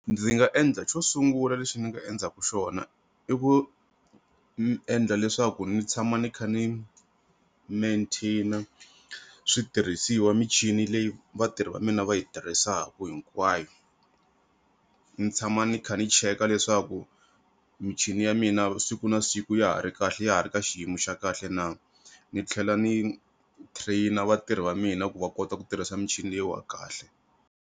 Ndzi nga endla xo sungula lexi ni nga endzaku xona i ku ni endla leswaku ni tshama ni kha ni mantain switirhisiwa michini leyi vatirhi va mina va yi tirhisaku hinkwayo, ni tshama ni kha ni cheka leswaku michini ya mina siku na siku ya ha ri kahle ya ha ri ka xiyimo xa kahle na ni tlhela ni train vatirhi va mina ku va kota ku tirhisa michini leyiwa kahle.